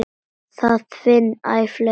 Það finna æ fleiri.